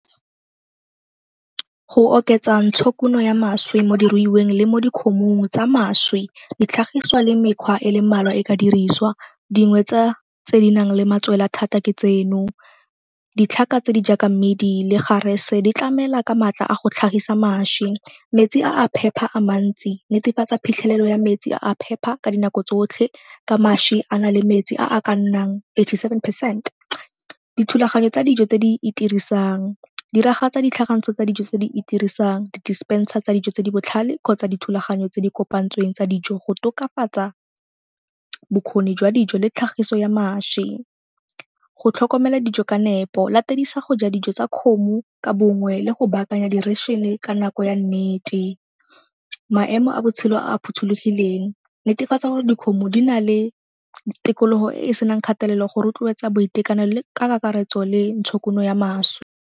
Go oketsa ntshokuno ya mašwi mo diruiweng le mo dikgomong tsa mašwi ditlhagiswa le mekgwa e le mmalwa e ka diriswa, dingwe tsa tse di nang le matswela thata ke tseno. Ditlhaka tse di jaaka mmidi le garese di tlamela ka maatla a go tlhagisa mašwi. Metsi a a phepa a mantsi, netefatsa phitlhelelo ya metsi a a phepa ka dinako tsotlhe ka mašwi a na le metsi a a ka nnang eighty-seven percent. Dithulaganyo tsa dijo tse di itirisang, diragatsa ditlhakantso tsa dijo tse di itirisang di-dispenser tsa dijo tse di botlhale kgotsa dithulaganyo tse di kopantsweng tsa dijo go tokafatsa bokgoni jwa dijo le tlhagiso ya mašwi. Go tlhokomela dijo ka nepo, latedisa go ja dijo tsa kgomo ka bongwe le go baakanya ka nako ya nnete. Maemo a botshelo a a phothulogileng, netefatsa gore dikgomo di na le tikologo e e senang kgatelelo go rotloetsa boitekanelo ka kakaretso le ntshokuno ya mašwi.